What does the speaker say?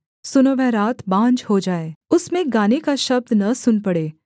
सुनो वह रात बाँझ हो जाए उसमें गाने का शब्द न सुन पड़े